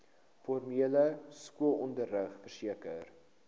formele skoolonderrig verseker